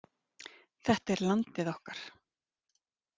Þetta er landið okkar